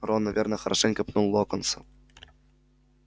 рон наверное хорошенько пнул локонса